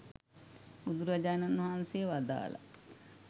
බුදුරජාණන් වහන්සේ වදාළා